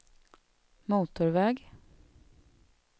motorväg